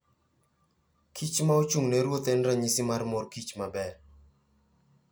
kich ma ochung'ne ruoth en ranyisi mar mor kich maber.